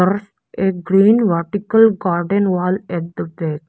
a green vertical garden wall at the back.